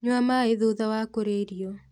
Nyua maĩ thutha wa kũrĩa irio